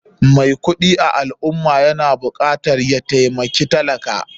Mai kuɗi a al ummah yana bukatar ya taimakin talaka.